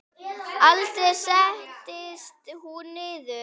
Aldrei settist hún niður.